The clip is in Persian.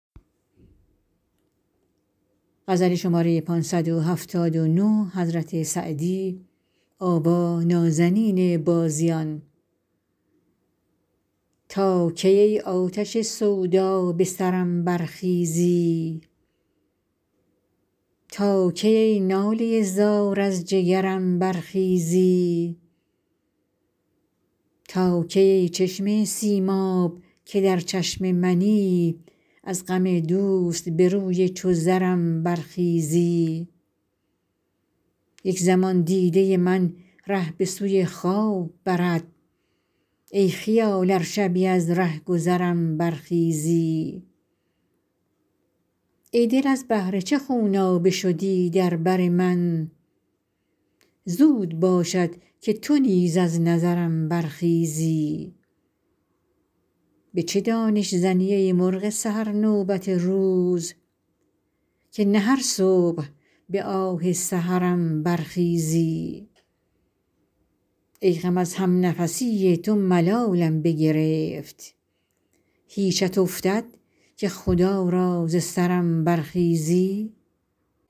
تا کی ای آتش سودا به سرم برخیزی تا کی ای ناله زار از جگرم برخیزی تا کی ای چشمه سیماب که در چشم منی از غم دوست به روی چو زرم برخیزی یک زمان دیده من ره به سوی خواب برد ای خیال ار شبی از رهگذرم برخیزی ای دل از بهر چه خونابه شدی در بر من زود باشد که تو نیز از نظرم برخیزی به چه دانش زنی ای مرغ سحر نوبت روز که نه هر صبح به آه سحرم برخیزی ای غم از همنفسی تو ملالم بگرفت هیچت افتد که خدا را ز سرم برخیزی